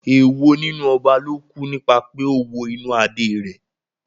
Èwo nínú ọba ló kú nípa pé ó wo inú Adé rẹ̀?